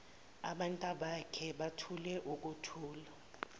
abantabakhe bathule ukuthula